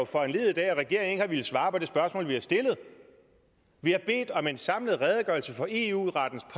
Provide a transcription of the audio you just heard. foranlediget af at regeringen ikke har villet svare på det spørgsmål vi har stillet vi har bedt om en samlet redegørelse for eu rettens